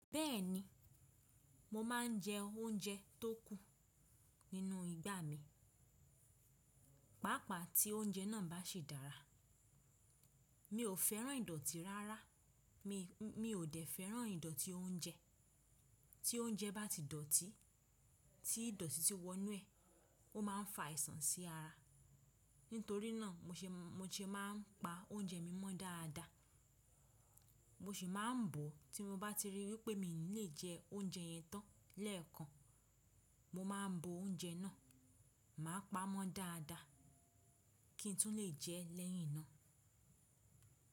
Bẹ́ẹ̀ni, mo ma ń jẹ óúnjẹ tó kù nínú ìgbà mi, pàápàá tí óúnjẹ náà bá ṣe dára. Mi ò fẹ́ràn ìdọ̀tí rárá, mí ò dẹ̀ fẹ́ràn ìdọ̀tí oúnjẹ. Tí oúnjẹ bá ti dọ̀tí, tí ìdọ̀tí tí wọ inú ẹ̀, ó má a ń fa àìsàn sí ara. Nítorí náà mo ṣe má n pa oúnjẹ mi mọ́ dáadáa. Mo sì má n bọ̀ tí mo bá ti ríi wípé mi ò ní lè jẹ oúnjẹ yẹn tán lẹ́ẹ̀kan. Mo má a n bo oúnjẹ náà, màá pa á mọ́ dáadáa kí n tún lè jẹ ẹ́ lẹ́yìn náà.